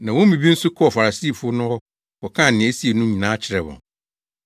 Na wɔn mu bi nso kɔɔ Farisifo no hɔ kɔkaa nea esii no nyinaa kyerɛɛ wɔn.